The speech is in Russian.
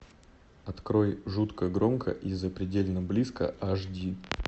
открой жутко громко и запредельно близко аш ди